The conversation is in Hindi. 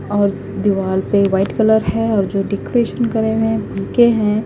और दिवाल पे व्हाइट कलर है और जो डेकोरेशन करे हैं हैं।